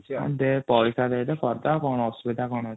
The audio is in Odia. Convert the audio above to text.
ଦେ ପଇସା ଦେଇଦେ କରିଡବା ଅସୁବିଧା କଣ ଅଛି |